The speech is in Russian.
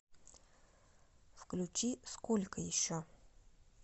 включи сколько еще